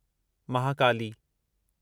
Mahakali